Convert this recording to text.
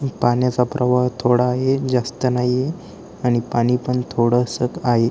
पाण्याचा प्रवाह थोडा ही जास्त नाहीये आणि पाणी पण थोडस आहे.